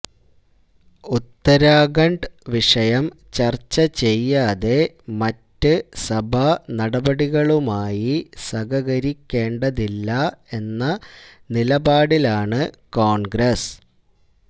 ഉത്തരാഖണ്ഡ് വിഷയം ചര്ച്ച ചെയ്യാതെ മറ്റ് സഭാ നടപടികളുമായി സഹകരിക്കേണ്ടതില്ല എന്ന നിലപാടിലാണ് കോണ്ഗ്രസ്